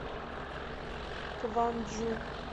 кванджу